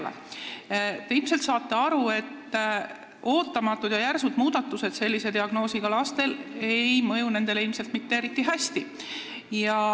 Te saate ilmselt aru, et ootamatud ja järsud muudatused ei mõju sellise diagnoosiga lastele kuigi hästi.